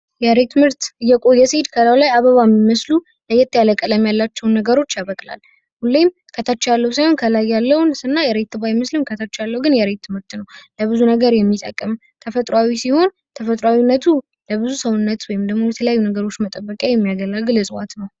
የሬት ምርት እየቆየ ሲሄድ ከላዩ ላይ አበባ ሚመስሉ ለየት ያለ ቀለም ያላቸዉን ነገሮች ያበቅላል። ሁሌም ከታች ያለው ሳይሆን ከላይ ያለውን ስናይ ሬት ባይመስልም ከተቻለው ያለው ግን የሬት ምርት ነው። ለብዙ ነገር የሚጠቀም ተፈጥሯዊ ሲሆን ተፈጥሮነቱ ለብዙ ሰውነቱ ወይም ደግሞ ድለተለያዩ ነገሮች መጠበቅ የሚያገለግል ነው።